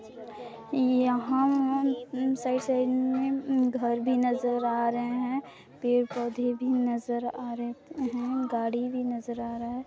यहाँ साइड-साइड में घर भी नजर आ रहे है पेड़ पौधे भी नजर आ रहे है गाड़ी भी नजर आ रहा है।